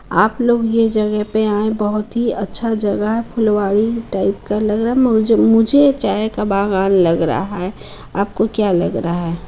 आप लोग ये जगह पे आए बहुत ही अच्छा जगह है फुलवारी टाइप का लगा रहा है मुझे ये चाय का बागान लग रहा है आपको क्या लग रहा है।